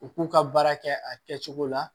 U k'u ka baara kɛ a kɛcogo la